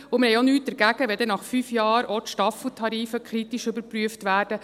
Und wir haben auch nichts dagegen, wenn nach fünf Jahren auch die Staffeltarife kritisch überprüft werden.